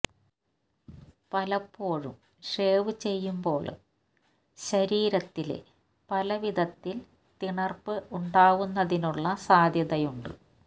പലപ്പോഴും ഷേവ് ചെയ്യുമ്പോള് ശരീരത്തില് പല വിധത്തില് തിണര്പ്പ് ഉണ്ടാവുന്നതിനുള്ള സാധ്യതയുണ്ട്